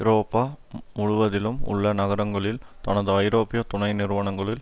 ஐரோப்பா முழுவதிலும் உள்ள நகரங்களில் தனது ஐரோப்பிய துணை நிறுவனங்களில்